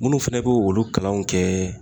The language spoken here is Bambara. Munnu fɛnɛ b'o olu kalanw kɛ